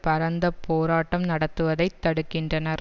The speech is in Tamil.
பரந்த போராட்டம் நடத்துவதைத் தடுக்கின்றனர்